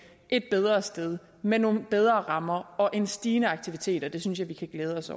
et bedre sted med nogle bedre rammer og en stigende aktivitet og det synes jeg vi kan glæde os